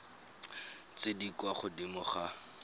tse di kwa godimo ga